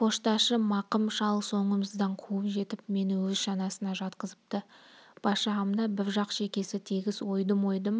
почташы мақым шал соңымыздан қуып жетіп мені өз шанасына жатқызыпты бас жағымда бір жақ шекесі тегіс ойдым-ойдым